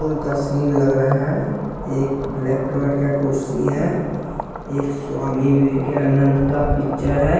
का सीन लग रहा है एक ब्लैक कलर का कुर्सी है एक स्वामी विवेकानंद का पिक्चर है।